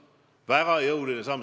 Ja väga jõuline samm.